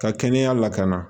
Ka kɛnɛya lakana